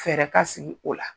Fɛrɛ ka sigi o la.